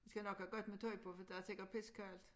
Vi skal nok have godt med tøj på for der er sikkert pissekoldt